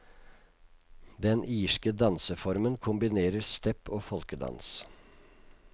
Den irske danseformen kombinerer step og folkedans.